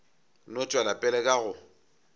no tšwela pele ka go